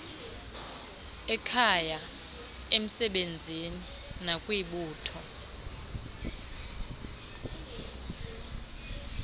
ekhaya emsebenzini nakwibutho